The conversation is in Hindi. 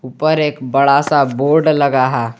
ऊपर एक बड़ा सा बोर्ड लगा है।